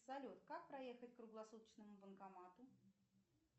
салют как проехать к круглосуточному банкомату